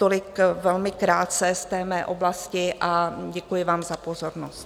Tolik velmi krátce z té mé oblasti a děkuji vám za pozornost.